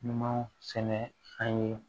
Numan sɛnɛ an ye